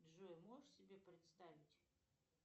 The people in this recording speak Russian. джой можешь себе представить